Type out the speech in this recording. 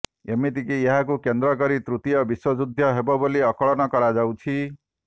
ଏମିତିକି ଏହାକୁ କେନ୍ଦ୍ର କରି ତୃତୀୟ ବିଶ୍ୱ ଯୁଦ୍ଧ ହେବ ବୋଲି ଆକଳନ କରାଯାଉଛି